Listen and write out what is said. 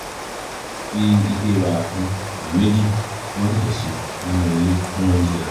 fi ife wàrà kan tàbí méjì tí wọ́n ṣẹ̀ṣẹ̀ ṣe nínú ilé kún oúnjẹ rẹ̀